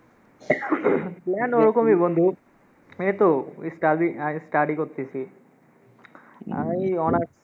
Plan ওরকমই বন্ধু। এই তো study আহ study করতেসি আই honours